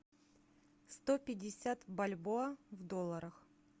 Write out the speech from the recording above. сто пятьдесят бальбоа в долларах